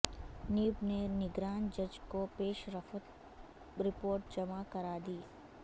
NAB نے نگران جج کو پیش رفت رپورٹ جمع کرا دی